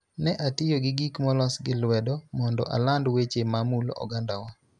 Ne atiyo gi gik molos gi lwedo mondo aland weche ma mulo ogandawa.